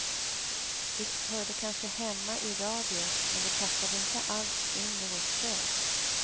Det hörde kanske hemma i radio men det passade inte alls in i vårt kök.